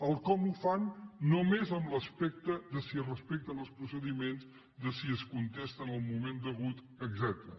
el com ho fan només en l’aspecte de si es respecten els procediments de si es contesta en el moment degut etcètera